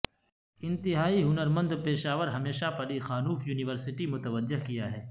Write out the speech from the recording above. انتہائی ہنر مند پیشہ ور ہمیشہ پلیخانوف یونیورسٹی متوجہ کیا ہے